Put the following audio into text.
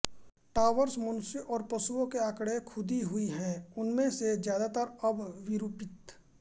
towers मनुष्यों और पशुओं के आंकड़े खुदी हुई है उनमें से ज्यादातर अब विरूपित